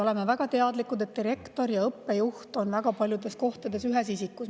Oleme väga teadlikud, et direktor ja õppejuht on väga paljudes kohtades ühes isikus.